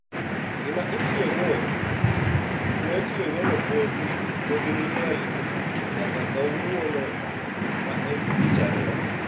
Gima itiyogo no podi liel nyaka kawuono ma en Tich ariyo.